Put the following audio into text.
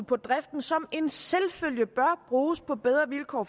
på driften som en selvfølge bør bruges på bedre vilkår